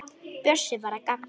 Bjössi var að gabba.